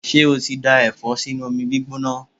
Ṣé o ti dá Ẹ̀fọ́ sínú omi gbígbóná?